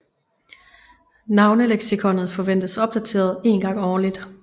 Navneleksikonet forventes opdateret en gang årligt